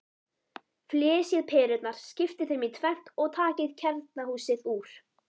Flysjið perurnar, skiptið þeim í tvennt og takið kjarnahúsið úr.